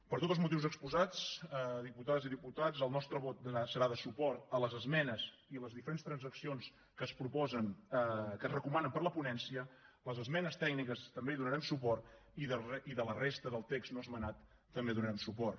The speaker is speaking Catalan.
per tots els motius exposats diputades i diputats el nostre vot serà de suport a les esmenes i a les diferents transaccions que es proposen que es recomanen per la ponència a les esmenes tècniques també hi donarem suport i a la resta del text no esmenat també hi donarem suport